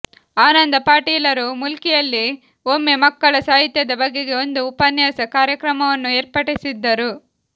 ಆನಂದ ಪಾಟೀಲರು ಮುಲ್ಕಿಯಲ್ಲಿ ಒಮ್ಮೆ ಮಕ್ಕಳ ಸಾಹಿತ್ಯದ ಬಗೆಗೆ ಒಂದು ಉಪನ್ಯಾಸ ಕಾರ್ಯಕ್ರಮವನ್ನು ಏರ್ಪಡಿಸಿದ್ದರು